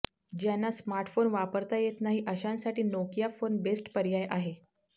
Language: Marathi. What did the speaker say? ज्यांना स्मार्टफोन वापरता येत नाही अशांसाठी नोकिया फोन बेस्ट पर्याय आहे